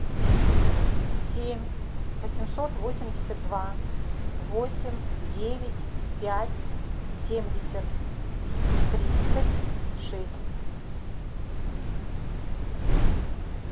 семь восемьсот восемьдесят два восемь девять пять семьдесят тридцать шесть